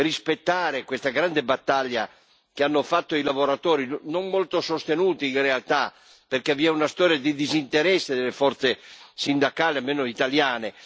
rispettare questa grande battaglia che hanno fatto i lavoratori, non molto sostenuti in realtà, perché vi è una storia di disinteresse delle forze sindacali, almeno italiane.